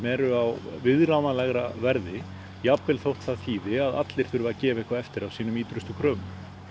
eru á viðráðanlegra verði jafnvel þótt það þýði að allir þurfi að gefa eitthvað eftir af sínum ýtrustu kröfum